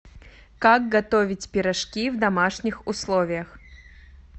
как готовить пирожки в домашних условиях